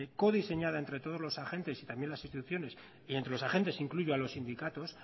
codiseñada entre todos los agentes y también las instituciones y entre los agentes incluyo a los sindicatos